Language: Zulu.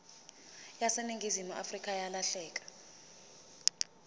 yaseningizimu afrika yalahleka